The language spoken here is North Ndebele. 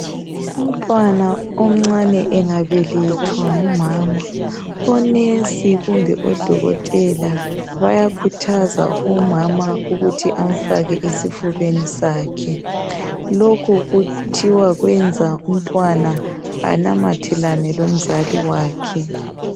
Umntwana omncane engabelethwa ngumama, onesi kumbe odokotela bayakhuthaza umama ukuthi amfake esifubeni sakhe. Lokhu kuthiwa kwenza umntwana anamathelane lomzali wakhe.